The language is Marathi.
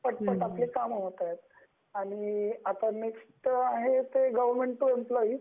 पटकन आपली काम होत आहेत आणि आता नेक्स्ट आहे ते गवर्नमेंट टू एम्प्लॉयी,